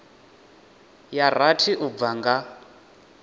ya rathi u bva nga